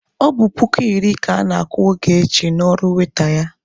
Ọ bụ puku iri ka ana-akwụ Ogechi n'ọrụ waita ya.